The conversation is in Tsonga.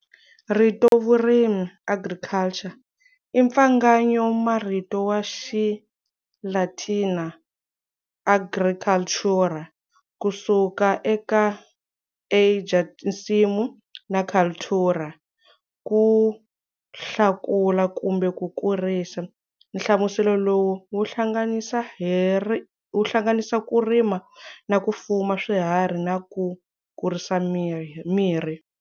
Rito vurimi agriculture, impfangayo ma marito ya Xilatina agricultūra, kusuka eka ager, nsimu, na cultūra, kuhlakula kumbe kukurisa. Hlamuselo lowu wu hlanganisa ku rima na ku fuma swiharhi na ku kurisa mirhi.